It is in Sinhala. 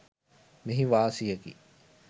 මෙහි වාසියකි.